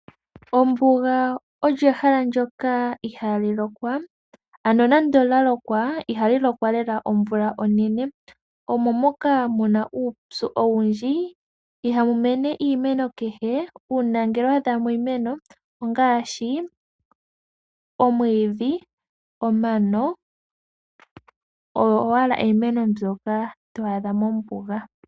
Ombuga ehala ndyoka ihali lokwa nande olya lokwa ihali lokwa lela omvula onene. Omuna uupyu owundji mo ihamu mene oshimeno kehe. Uuna wa adhamo oshimeno ongaashi omwiidhi nomano.